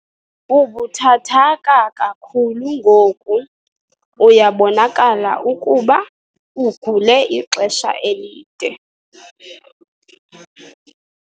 Ubuthathaka kakhulu ngoku uyabonakala ukuba ugule ixesha elide.